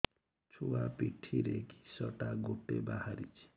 ଛୁଆ ପିଠିରେ କିଶଟା ଗୋଟେ ବାହାରିଛି